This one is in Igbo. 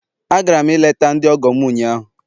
Agara m ileta ndi ọgọ m ụnyahụ